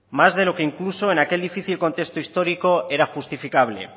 más de lo que incluso en aquel difícil contexto histórico era justificable